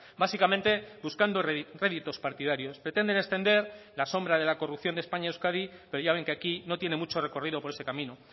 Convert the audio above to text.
básicamente buscando réditos partidarios pretenden extender la sombra de la corrupción de españa a euskadi pero ya ven que aquí no tiene mucho recorrido por ese camino